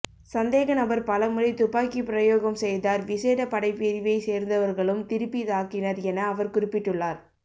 சந்தேகநபர் பலமுறை துப்பாக்கி பிரயோகம் செய்தார் விசேட படைப்பிரிவை சேர்ந்தவர்களும் திருப்பி தாக்கினர் என அவர் குறிப்பிட்டுள்ளார்